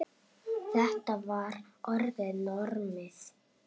Þetta var orðið normið.